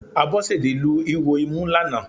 Abọ́sẹ̀dé lu ihò imú lánàá